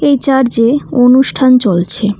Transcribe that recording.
এই চার্জে -এ অনুষ্ঠান চলছে।